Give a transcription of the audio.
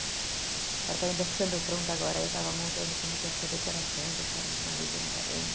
O apartamento está ficando pronto agora, aí eu estava montando como que ia ser a decoração, então eu quero uma rede na varanda.